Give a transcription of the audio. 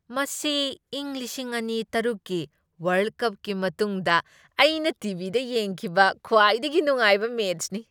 ꯃꯁꯤ ꯏꯪ ꯂꯤꯁꯤꯡ ꯑꯅꯤ ꯇꯔꯨꯛꯀꯤ ꯋꯔꯜꯗ ꯀꯞꯀꯤ ꯃꯇꯨꯡꯗ ꯑꯩꯅ ꯇꯤ. ꯚꯤ. ꯗ ꯌꯦꯡꯈꯤꯕ ꯈ꯭ꯋꯥꯏꯗꯒꯤ ꯅꯨꯡꯉꯥꯏꯕ ꯃꯦꯆꯅꯤ꯫